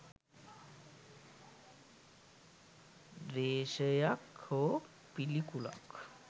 ද්වේශයක් හෝ පිළිකුලක්